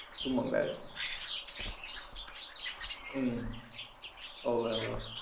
શું મંગાયું થું હમ હોવે હોવે